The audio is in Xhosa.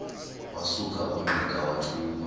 wasuka ungqika wathuma